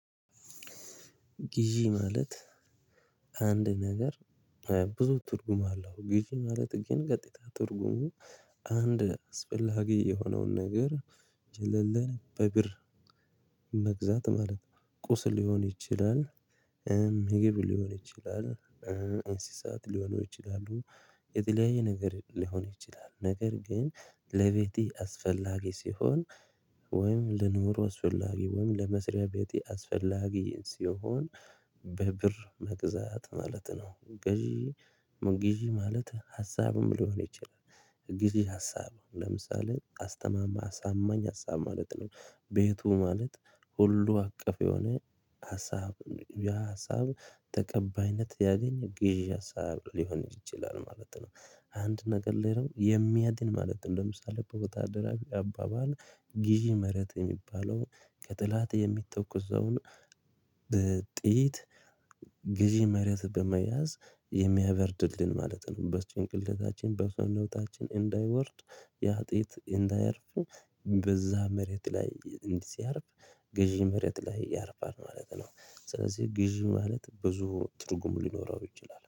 ግዢ ማለት። አንድ ነገር ብዙ ትርጉም አለው። ግዢ ማለት ግን ቀጥታ ትርጉሙ አንድ አስፈላጊ የሆነውን ነገር ጀለለ በብር መግዛት ማለት ቁስ ሊሆን ይችላል። ምግብ ሊሆን ይችላል እንስሳት ሊሆኑ ይችላሉ። የተለያየ ነገር ሊሆን ይችላል ነገር ግን ለቤቴ አስፈላጊ ሲሆን ወይም ለኑሮ አስፈላጊ ወይም ለመስሪያ ቤቴ አስፈላጊ ሲሆን በብር መግዛት ማለት ነው። ግዢ ግዢ ማለት ሀሳብም ሊሆን ይችላል ጊዜ ሀሳብ ለምሳሌ አስተማማኝ አሳማኝ ሀሳብ ማለት ነው። ቤቱ ማለት ሁሉ አቀፍ የሆነ ሀሳብ ያ ሀሳብ ተቀባይነት ያገኘ ግዢ ሀሳብ ሊሆን ይችላል ማለት ነው። አንድ ነገር ላይ ነው የሚያድን ማለት ነው። ለምሳሌ በወታደራዊ አባባል ግዥ መረጥ የሚባለው ከጥላት የሚኮስውን ጥይት ግዢ መሪያ በመያዝ የሚያበርድልን ማለት ነው። በጭንቅላታችን በሰውነታችን እንዳይወርድ ያ ጥይት እንዳያርፍ በዛ መሬት ላይ ሲያርፍ ግዢ መሬት ላይ ያርፋል ማለት ነው። ስለዚህ ግዢ ማለት ብዙ ትርጉም ሊኖረው ይችላል